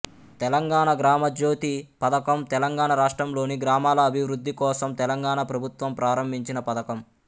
తెలంగాణ గ్రామజ్యోతి పథకం తెలంగాణ రాష్ట్రం లోని గ్రామాల అభివృద్ధికోసం తెలంగాణ ప్రభుత్వం ప్రారంభించిన పథకం